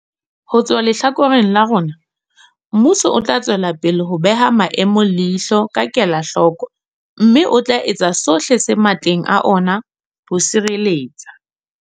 Ho tswa lehlakoreng la rona, mmuso o tla tswelapele ho beha maemo leihlo ka kelahloko mme o tla etsa sohle se matleng a ona ho sireletsa.